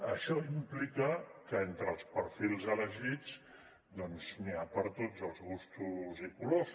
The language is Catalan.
això implica que entre els perfils elegits doncs n’hi ha per a tots els gustos i colors